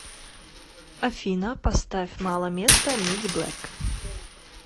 афина поставь мало места мидиблэк